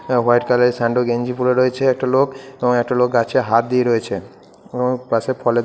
white কালারের স্যান্ডো গেঞ্জি পরে আছে একটা লোক | এবং একটা লোক গাছে হাত দিয়ে রয়েছে | এবং পাশে ফলের--